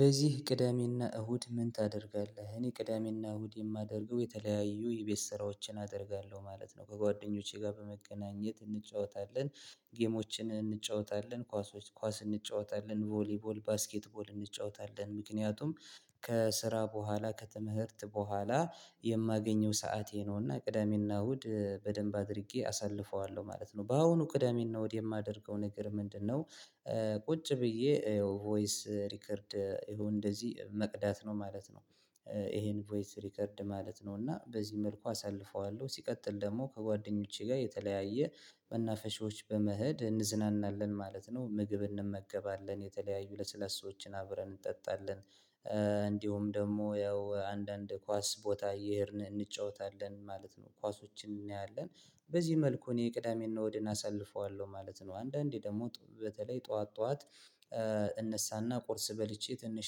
በዚህ ቅዳሜና እሁድ ምን ታደርጋለህ? እኔ ቅዳሜና እሁድ የማደርገው የተለያዩ የቤት ስራዎችን አደርጋለሁ ማለት ነው። ከጓደኞቼ ጋር በመገናኘት እንጫወታለን ጌሞችን እንጫወታለን ኳሶች ኳስ እንጫወታለን ቮሊቮል ባስኬትቦል እንጫወታለን ምክንያቱም ከስራ በኋላ ከትምህርት በኋላ የማገኘው ሰዓቴ ነውና ቅዳሜና እሁድ በደንብ አድርጌ አሳልፈዋለሁ ማለት ነው። በአሁኑ ቅዳሜና እሁድ የማደርገው ነገር ምንድነው? ቁጭ ብዬ ቮይስ ሪከርድ ይሄን እንደዚህ መቅዳት ነው ማለት ነው። ይሄን ቮይስ ሪከርድ ማለት ነው እና በዚህ መልኩ አሳልፈዋለሁ ሲቀጥል ደግሞ ከጓደኞቼ ጋር የተለያየ መናፈሻዎች በመሄድ እንዝናናለን ማለት ነው። ምግብ እንመገባለን የተለያዩ ለስለሰዎችን አብረን እንጠጣለን። እንዲሁም ደግሞ ያው አንዳንድ ኳስ ቦታ እንጫወታለን ማለት ነው። ኳሶችን እናያለን በዚህ መልኩ እኔ ቅዳሜና እሁድን አሳልፈዋለሁ ማለት ነው። አንዳንዴ ደግሞ በተለይ ጠዋት ጠዋት እነሳና ቁርስ በልቼ ትንሽ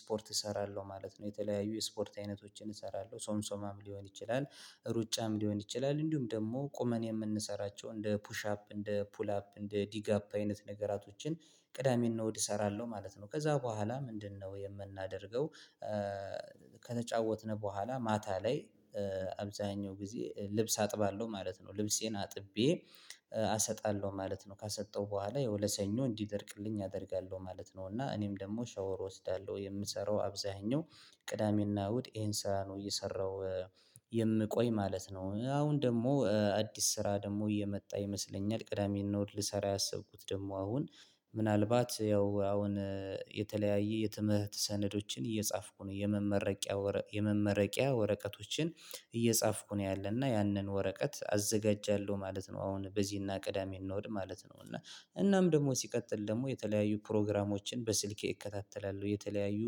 ስፖርት እሰራለሁ ማለት ነው። የተለያዩ የስፖርት አይነቶችን እሰራለሁ ሶምሶማም ሊሆን ይችላል። ሩጫም ሊሆን ይችላል እንዲሁም ደሞ ቁመን የምንሰራቸው እንደ ፑሽ አፕ እንደ ፑል አፕ እንደ ዲግ አፕ አይነት ነገራቶችን። ቅዳሜና እሁድ እሰራለሁ ማለት ነው። ከዛ በኋላ ምንድነው የምናደርገው? ከተጫወትን በኋላ ማታ ላይ አብዛኛው ጊዜ ልብስ አጥባለሁ ማለት ነው። ልብሴን አጥቤ አሰጣለሁ ማለት ነው። ካሰጠው በኋላ ያው ለሰኞ እንዲደርቅልኝ አደርጋለሁ ማለት ነው። እና እኔም ደግሞ ሻወር እወስዳለሁ የምሰራው አብዛኛው ቅዳሜና እሁድ ይሄን ስራ ነው እየሰራው የምቆይ ማለት ነው። አሁን ደግሞ አዲስ ስራ ደግሞ እየመጣ ይመስለኛል። ቅዳሜናእሁድ ልሰራ ያሰብኩት ደግሞ አሁን ምናልባት ያው አሁን የተለያየ የትምህርት ሰነዶችን እየጻፍኩ የመመረቂያ ወረቀ የመመረቂያ ወረቀቶችን። እየጻፍኩ ነው ያለሁት ያንን ወረቀት አዘጋጃለሁ ማለት ነው። አሁን በዚህና ቅዳሜ እንወድ ማለት ነው። እና እናም ደግሞ ሲቀጥል ደግሞ የተለያዩ ፕሮግራሞችን በስልኬ እከታተላለሁ የተለያዩ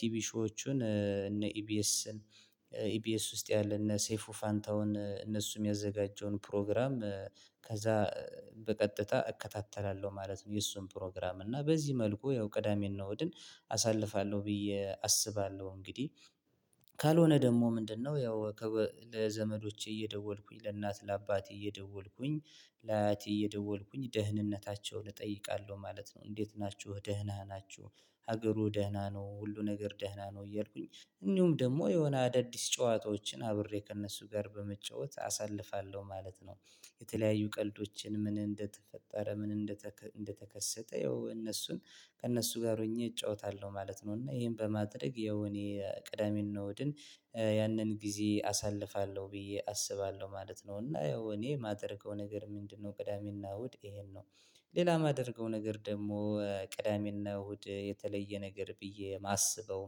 ቲቪሾዎችን እነ ኢቢኤስን ኢቢኤስ ውስጥ ያለ እነ ሴፉ ፋንታውን እነሱ የሚያዘጋጀውን ፕሮግራም ከዛ በቀጥታ እከታተላለሁ ማለት ነው። የእሱን ፕሮግራም እና በዚህ መልኩ ያው ቅዳሜና ወድን አሳልፋለሁ ብዬ አስባለሁ። እንግዲህ ካልሆነ ደሞ ምንድነው? ያው ለዘመዶቼ እየደወልኩኝ ለእናት ለአባቴ እየደወልኩኝ ለአያቴ እየደወልኩኝ ደህንነታቸውን እጠይቃለሁ ማለት ነው። እንዴት ናችሁ ደህና ናችሁ? ሀገሩ ደህና ነው ሁሉ ነገር ደህና ነው። እያልኩኝ እንዲሁም ደሞ የሆነ አዳዲስ ጨዋታዎችን አብሬ ከእነሱ ጋር በመጫወት አሳልፋለሁ ማለት ነው። የተለያዩ ቀልዶችን ምን እንደተፈጠረ ምን እንደተከሰተ ያው እነሱን ከእነሱ ጋር ሆኜ እጫወታለሁ ማለት ነው። እና ይሄን በማድረግ ያው እኔ ቅዳሜናእሁድን ያንን ጊዜ አሳልፋለሁ ብዬ አስባለሁ ማለት ነው። እና ያው እኔ የማደርገው ነገር ምንድነው? ቅዳሜናእሁድ ይሄን ነው። ሌላ የማደርገው ነገር ደሞ ቅዳሜና እሁድ የተለየ ነገር ብዬ የማስበው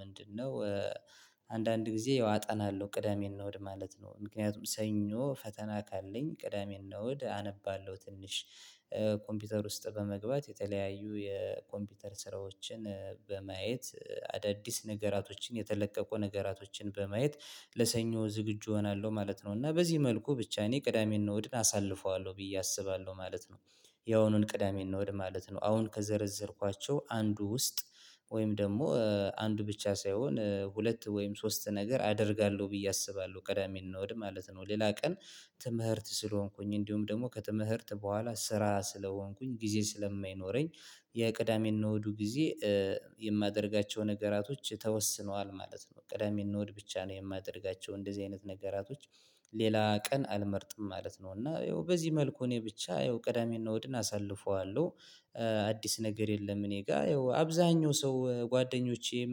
ምንድነው? አንዳንድ ጊዜ ያው አጠናለሁ ቅዳሜ እሁድ ማለት ነው። ምክንያቱም ሰኞ ፈተና ካለኝ ቅዳሜን እንወድ አነባለሁ ትንሽ ኮምፒውተር ውስጥ በመግባት የተለያዩ የኮምፒውተር ስራዎችን በማየት አዳዲስ ነገራቶችን የተለቀቁ ነገራቶችን በማየት ለሰኞ ዝግጁ እሆናለሁ ማለት ነው። እና በዚህ መልኩ ብቻ እኔ ቅዳሜና እሁድን አሳልፈዋለሁ ብዬ አስባለሁ ማለት ነው። ያውኑን ቅዳሜ እንወድ ማለት ነው። አሁን ከዘረዘርኳቸው አንዱ ውስጥ ወይም ደግሞ አንዱ ብቻ ሳይሆን ሁለት ወይም ሶስት ነገር አደርጋለሁ ብዬ አስባለሁ ቅዳሜኔ እሁድ ማለት ነው ሌላ ቀን ትምህርት ስለሆንኩኝ እንዲሁም ደግሞ ከትምህርት በኋላ ስራ ስለሆንኩኝ ጊዜ ስለማይኖረኝ። የቅዳሜና እሁዱጊዜ ኧ የማደርጋቸው ነገራቶች ተወስኗል ማለት ነው። ቅዳሜና እሁድ ብቻ ነው የማደርጋቸው እንደዚህ አይነት ነገራቶች። ሌላ ቀን አልመርጥም ማለት ነው። እና ያው በዚህ መልኩ እኔ ብቻ ያው ቀዳሜና እሁድን አሳልፈዋለሁ። አዲስ ነገር የለም። እኔ ጋር ያው አብዛኛው ሰው ጓደኞቼም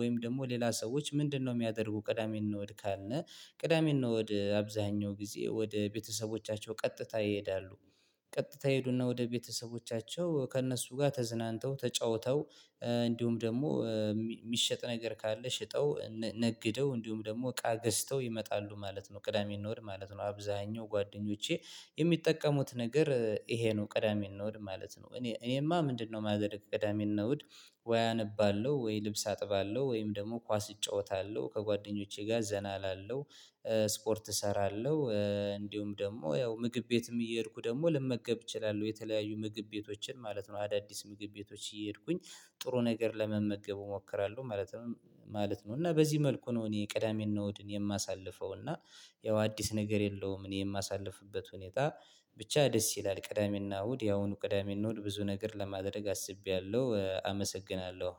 ወይም ደሞ ሌላ ሰዎች ምንድነው? የሚያደርጉ ቅዳሜና አሁድ ካልን። ቅዳሜና እሁድ ወአብዛኛው ጊዜ ወደ ቤተሰቦቻቸው ቀጥታ ይሄዳሉ። ቀጥታ ይሄዱና ወደ ቤተሰቦቻቸው ከእነሱ ጋ ተዝናንተው ተጫውተው እንዲሁም ደሞ የሚሸጥ ነገር ካለ ሽጠው ነግደው እንዲሁም ሞ እቃ ገዝተው ይመጣሉ ማለት ነው። ቅዳሜኔ እሁድ ማለት ነው። አብዛኛው ጓደኞቼ የሚጠቀሙት ነገር ይሄ ነው። ቅዳሜና እሁድ ማለት ነው። እኔ እኔማ ምንድነው የማያደርግ ቅዳሜና እሁድ። ወይ አነባለሁ ወይ ልብስ አጥባለሁ ወይም ደግሞ ኳስ እጫወታለሁ ከጓደኞቼ ጋር ዘና እላለሁ። ስፖርት እሰራለሁ እንዲሁም ደሞ ያው ምግብ ቤትም እየሄድኩ ደግሞ ልመገብ እችላለሁ የተለያዩ ምግብ ቤቶችን ማለት ነው። አዳዲስ ምግብ ቤቶች እየሄድኩኝ ጥሩ ነገር ለመመገብ እሞክራለሁ ማለት ነው። ማለት ነው እና በዚህ መልኩ ነው። እኔ ቅዳሜና እሁድን የማሳልፈው እና ያው አዲስ ነገር የለውም። እኔ የማሳልፍበት ሁኔታ ብቻ ደስ ይላል ቅዳሜናእሁድ ያሁኑ ቅዳሜናእሁድ ብዙ ነገር ለማድረግ አስቤያለሁ አመሰግናለሁ።